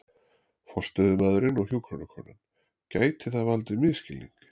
forstöðumaðurinn og hjúkrunarkonan, gæti það valdið misskilningi.